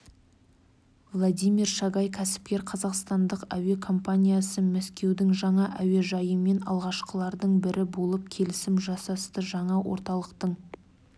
владимир шагай кәсіпкер қазақстандық әуе компаниясы мәскеудің жаңа әуежайымен алғашқылардың бірі болып келісім жасасты жаңа орталықтың